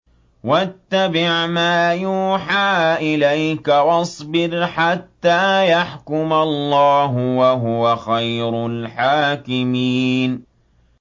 وَاتَّبِعْ مَا يُوحَىٰ إِلَيْكَ وَاصْبِرْ حَتَّىٰ يَحْكُمَ اللَّهُ ۚ وَهُوَ خَيْرُ الْحَاكِمِينَ